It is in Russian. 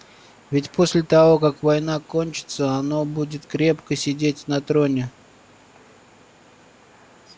ведь после того как война кончится оно будет крепко сидеть на троне